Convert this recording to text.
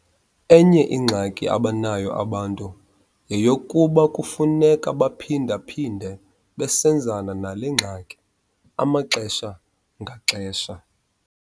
Enye ingxaki abanayo abantu yeyokokuba kufuneka baphinda-phinde besebenzana nale ngxaki amaxesha ngaxesha.